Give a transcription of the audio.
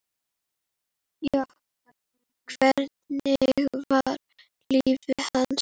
Hvernig var líf hans?